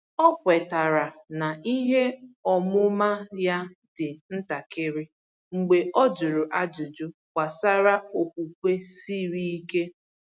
Ọ kwetara na ihe ọmụma ya dị ntakịrị mgbe ọ jụrụ ajụjụ gbasara okwukwe siri ike.